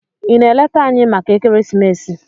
Ị na-eleta anyị maka ekeresimesi?